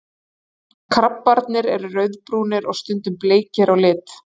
Krabbarnir eru rauðbrúnir og stundum bleikir á lit.